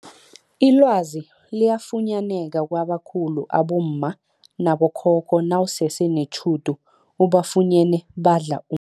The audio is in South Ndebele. Ilwazi liyafunyaneka kwabakhulu abomma, abogogo nabo khokho nawusese netjhudu ubafunyene badla u